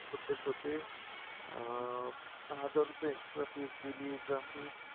subject होते, अं हजार रूपये extra fees गेली exam fee